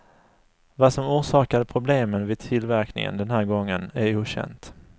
Vad som orsakade problemen vid tillverkningen den här gången är okänt.